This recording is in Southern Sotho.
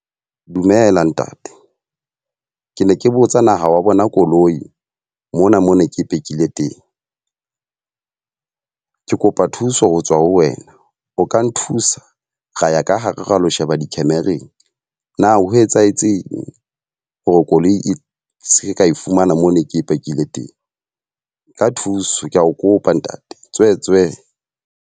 Dumela ntate. Ke ne ke botsa na wa bona koloi, mona mona ke e phekile teng. Ke kopa thuso ho tswa ho wena. O ka nthusa ra ya ka hare, ra lo sheba di-camera-ng. Na ho etsahetseng hore koloi e se ke ka e fumana moo ne ke e pakile teng. Ka thuso, ke a o kopa ntate tswetswe.